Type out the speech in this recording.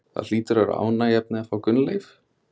Það hlýtur að vera ánægjuefni að fá Gunnleif?